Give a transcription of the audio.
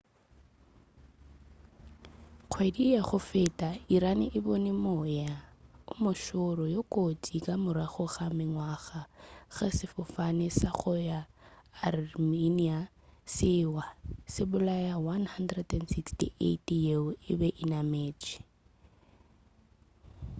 kgwedi ya go feta iran e bone moya o mošoro yo kotsi ka morago ga mengwaga ga ge sefofane sa go ya armenia se wa se bolaya 168 yeo e be e nametše